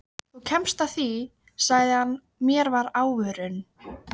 Þú kemst að því sagði hann mér að óvörum.